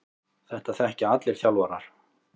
Þetta þekkja allir þjálfarar.